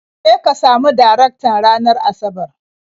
Je ka samu Darektan ranar Asabar.